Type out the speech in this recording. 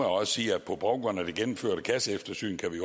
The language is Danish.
også sige at på baggrund af det gennemførte kasseeftersyn kan vi